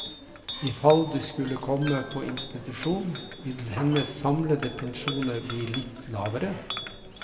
Ifall du skulle komme på institusjon, vil hennes samlede pensjoner bli litt lavere.